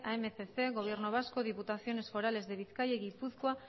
a mil doscientos gobierno vasco diputaciones forales de bizkaia y gipuzkoa